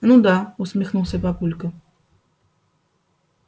ну да усмехнулся папулька